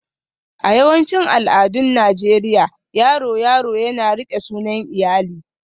A yawancin al'adun Najeriya, yaro yaro yana riƙe sunan iyali